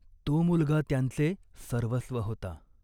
तो मुलगा त्यांचे सर्वस्व होता.